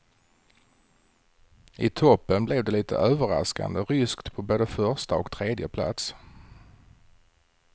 I toppen blev det lite överraskande ryskt på både första och tredje plats.